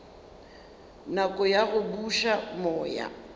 nako ya go buša moya